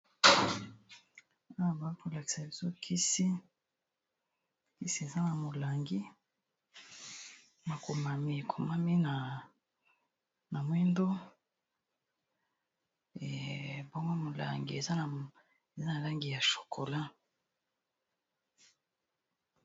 Awa bazolakisa kisi eza na molangi makomami ekomami na mwindu awa molangi eza na langi ya chokola